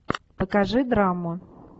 покажи драму